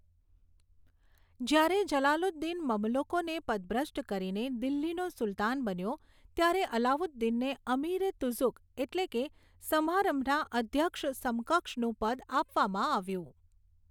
જ્યારે જલાલુદ્દીન મમલુકોને પદભ્રષ્ટ કરીને દિલ્હીનો સુલતાન બન્યો, ત્યારે અલાઉદ્દીનને અમીર એ તુઝુક, એટલે કે સમારંભના અધ્યક્ષ સમકક્ષનું પદ આપવામાં આવ્યું.